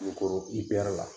Kulukoro IPR la.